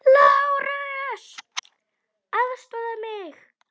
LÁRUS: Aðstoða mig!